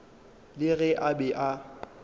le ge a be a